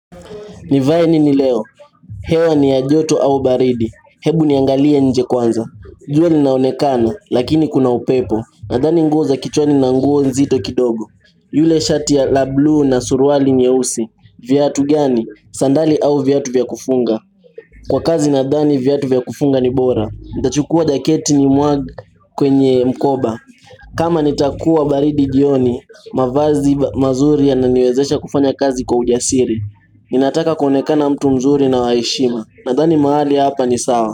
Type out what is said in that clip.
Nivae nini leo, hewa ni ya joto au baridi, hebu niangalie nje kwanza jua inaonekana, lakini kuna upepo, nadhani nguo za kichwani na nguo nzito kidogo ile shati la bluu na suruali nyeusi, viatu gani, sandali au viatu vya kufunga Kwa kazi nadhani viatu vya kufunga ni bora, nitachukua jaketi nimwage kwenye mkoba kama nitakuwa baridi jioni, mavazi mazuri yananiwezesha kufanya kazi kwa ujasiri ninataka kuonekana mtu mzuri na wa heshima Nadhani mahali hapa ni sawa.